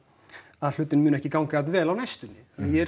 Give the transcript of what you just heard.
að hlutirnir muni ekki ganga jafn vel á næstunni ég er